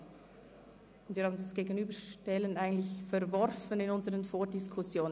Eigentlich hatten wir die Gegenüberstellung anlässlich der Vordiskussionen verworfen.